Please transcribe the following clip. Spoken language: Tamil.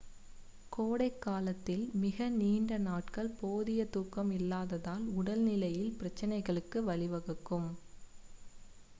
கோடை காலத்தில் மிக நீண்ட நாட்கள் போதிய தூக்கம் இல்லாததால் உடல் நிலையில் பிரச்சினைகளுக்கு வழிவகுக்கும்